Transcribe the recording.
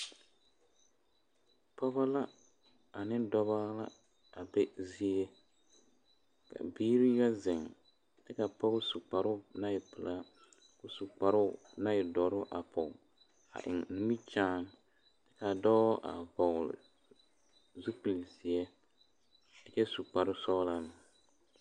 Pɔgebo la ane dɔɔbo la a be zie ka biiri yɛ zeŋ kyɛ ka pɔge zu kparo naŋ e pelaa a su kparo naŋ e doɔre a poɔ a eŋ nimikyaane kaa dɔɔ a vɔgle zupele ziɛ a kyɛ su kpare sɔglaa.